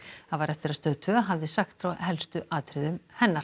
það var eftir að Stöð tvö hafði sagt frá helstu atriðum hennar